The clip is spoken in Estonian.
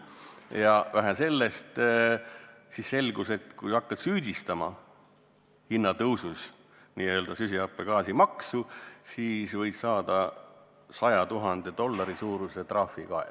Ja vähe sellest – selgus, et kui hakkad n-ö süsihappegaasimaksu süüdistama hinnatõusus, siis võid saada 100 000 dollari suuruse trahvi kaela.